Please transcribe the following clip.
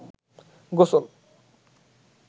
গোসল